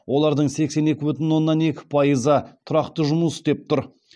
олардың сексен екі бүтін оннан екі пайызы тұрақты жұмыс істеп тұр